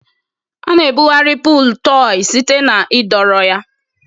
A-na ebugharị pụụl tọị site na ịdọrọ ya.